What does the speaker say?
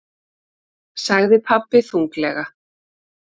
sagði pabbi þunglega.